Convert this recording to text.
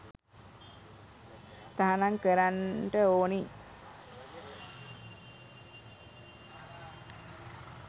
තහනම් කරන්ට ඕනි.